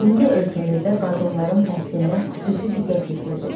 İndi ölkəmizdə qadınların təhsilinə xüsusi diqqət yetirilir.